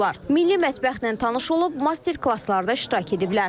Milli mətbəxlə tanış olub, master-klasslarda iştirak ediblər.